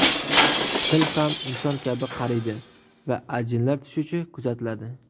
Til ham inson kabi qariydi va ajinlar tushishi kuzatiladi.